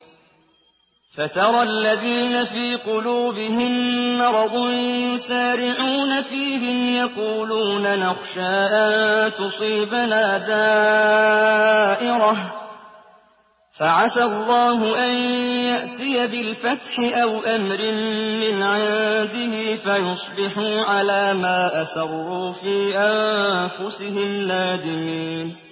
فَتَرَى الَّذِينَ فِي قُلُوبِهِم مَّرَضٌ يُسَارِعُونَ فِيهِمْ يَقُولُونَ نَخْشَىٰ أَن تُصِيبَنَا دَائِرَةٌ ۚ فَعَسَى اللَّهُ أَن يَأْتِيَ بِالْفَتْحِ أَوْ أَمْرٍ مِّنْ عِندِهِ فَيُصْبِحُوا عَلَىٰ مَا أَسَرُّوا فِي أَنفُسِهِمْ نَادِمِينَ